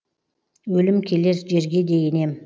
өлім келер жерге де енем